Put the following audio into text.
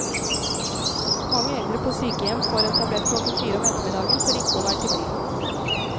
Mange eldre på sykehjem får en tablett klokken fire om ettermiddagen for ikke å være til bry.